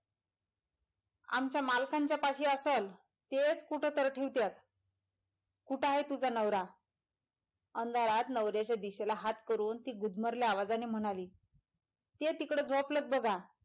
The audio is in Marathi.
आमच्या मालकांच्या पाशी असलं तेच कुठंतर ठेवत्यात कुठं हाय तुझा नवरा अंधारात नवऱ्याच्या दिशेला हात करून ती गुदमरल्या आवाजाने म्हणाली ते तिकडं झोपलेत बगा.